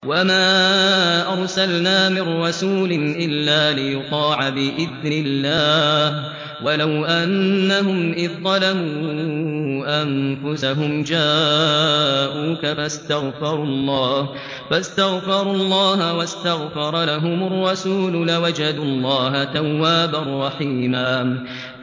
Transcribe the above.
وَمَا أَرْسَلْنَا مِن رَّسُولٍ إِلَّا لِيُطَاعَ بِإِذْنِ اللَّهِ ۚ وَلَوْ أَنَّهُمْ إِذ ظَّلَمُوا أَنفُسَهُمْ جَاءُوكَ فَاسْتَغْفَرُوا اللَّهَ وَاسْتَغْفَرَ لَهُمُ الرَّسُولُ لَوَجَدُوا اللَّهَ تَوَّابًا رَّحِيمًا